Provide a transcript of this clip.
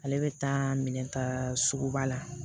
Ale bɛ taa minɛn ta suguba la